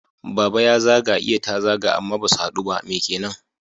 Baba ya zaga iya ta zaga amma basu haɗu ba. Me kenan?